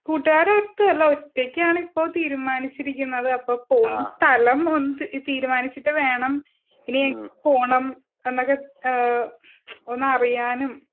കൂട്ടുകാരും ഒതല്ല ഒറ്റക്കാണ് ഇപ്പൊ തീരുമാനിച്ചിരിക്കുന്നത് അപ്പൊ പോകുന്ന സ്ഥലം ഒന്ന് തീരുമാനിച്ചിട്ട് വേണം പിന്നെ പോണം എന്നൊക്കെ ഈഹ് ഒന്ന് അറിയാനും